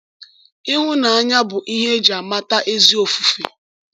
Ịhụnanya bụ ihe e ji amata ezi ofufe.